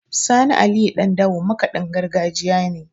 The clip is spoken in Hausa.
Sani Aliyu Ɗandawo makaɗin gargajiya ne.